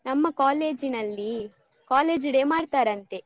ನಮ್ಮ college ನಲ್ಲಿ college day ಮಾಡ್ತಾರಂತೆ.